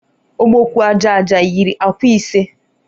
Ọbọgwụ aja aja yiri akwa ise.